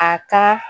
A ka